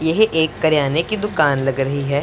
यह एक करियाने की दुकान लग रही है।